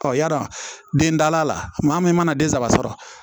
yara den dala la maa min mana den saba sɔrɔ